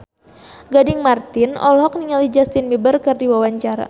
Gading Marten olohok ningali Justin Beiber keur diwawancara